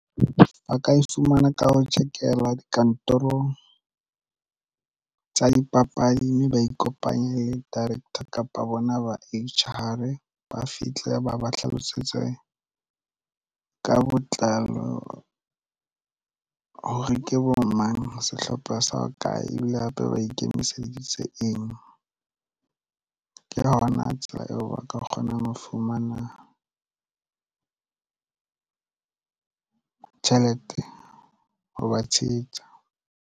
Ba ka e fumana ka ho check-elwa dikantorong tsa dipapadi mme ba ikopanye le director kapa bona ba H_R ba fihle ba ba hlalosetse ka botlalo hore ke bo mang sehlopha sa ho kae ebile hape ba ikemiseditse eng ke yona tsela eo ba ka kgona ho fumana tjhelete ho ba tshehetsa.